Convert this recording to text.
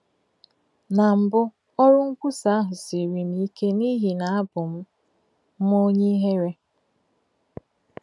Na mbụ, ọrụ nkwusa ahụ siiri m ike n’ihi na abụ m m onye ihere.